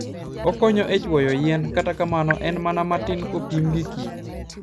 Okonyo e chwoyo yien, kata kamano, en mana matin kopim gi kich.